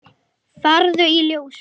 Farðu í Ljósið!